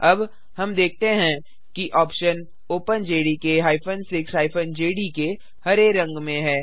अब हम देखते हैं कि ऑप्शन openjdk 6 जेडीके हरे रंग में है